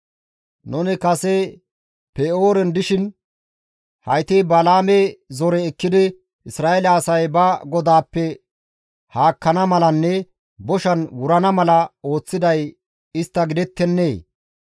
Nuni kase Pe7ooren dishin hayti Balaame zore ekkidi Isra7eele asay ba GODAAPPE haakkana malanne boshan wurana mala ooththiday istta gidettennee!